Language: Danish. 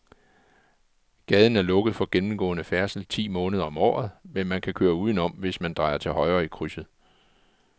Gaden er lukket for gennemgående færdsel ti måneder om året, men man kan køre udenom, hvis man drejer til højre i krydset.